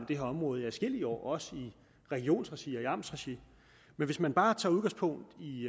det her område i adskillige år også i regionsregi og i amtsregi men hvis vi bare tager udgangspunkt i